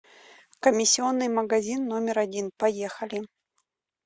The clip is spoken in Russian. комиссионный магазин номер один поехали